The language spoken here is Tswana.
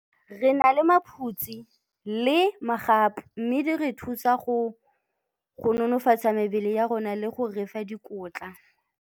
Re na le maphutse le magapu mme di re thusa go nonofatsa mebele ya rona le go re fa dikotla.